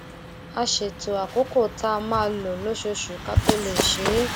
a ṣètò àkókò tá a máa lò lóṣooṣù ká tó lè ṣe é